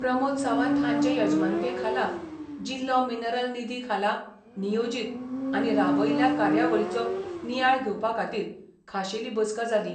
प्रमोद सावंत हांचे यजमानके खाला जिल्लो मिनरल निधी खाला नियोजीत आनी राबयिल्ल्या कार्यावळीचो नियाळ घेवपा खातीर खाशेली बसका जाली.